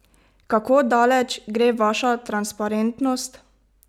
Kako daleč gre vaša transparentnost?